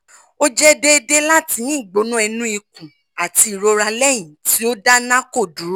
o jẹ deede lati ni igbona inu ikun ati irora lẹhin ti o da narco duro